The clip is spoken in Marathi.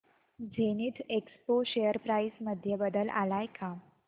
झेनिथएक्सपो शेअर प्राइस मध्ये बदल आलाय का